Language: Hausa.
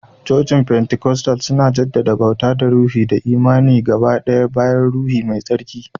Cocin fentikostal suna jaddada bauta ta ruhi da imani ga baye-bayen Ruhu Mai Tsarki.